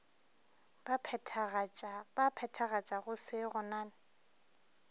ba phethagatšago se go na